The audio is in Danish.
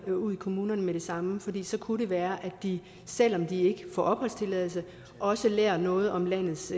dem ud i kommunerne med det samme for så kunne det være at de selv om de ikke får opholdstilladelse også lærer noget om landets